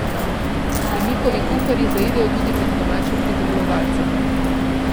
In njihovi kuharji zaidejo tudi med domače pridelovalce.